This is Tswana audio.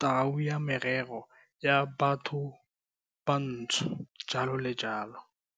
Taolo ya Merero ya Bathobantsho, jalo le jalo.